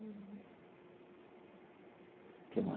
O que